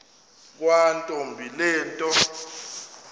yakwantombi le nto